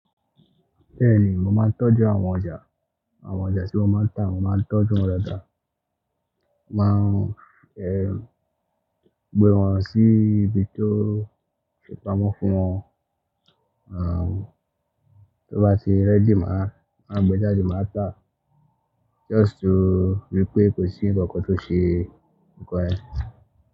Bẹ́ẹ̀ni mo máa ń tọ́jú àwọn ọjà, àwọn ọjà tí wọ́n máa ń tà mo máa ń tọ́jú wọn dáadáa. Mo máa ń gbé wọn sí ibi tó ti pamọ́ fún wọn, à tó bá ti ready màá gbe jáde màá tà, just ri pé kò sí ǹkan kan tó ṣe nǹkan ẹ.